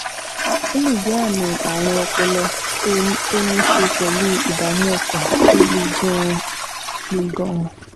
Ó lè jẹ́ àmì ààrùn ọpọlọ tó ní í ṣe pẹ̀lú ìdààmú ọkàn tó le gan-an le gan-an